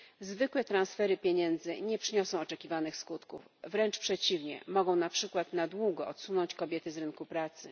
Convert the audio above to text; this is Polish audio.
Zwykłe transfery pieniędzy nie przyniosą oczekiwanych skutków, wręcz przeciwnie mogą na przykład na długo wypchnąć kobiety z rynku pracy.